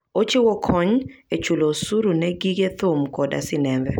Ochiwo kony e chulo osuru ne gige thum koda sinembe.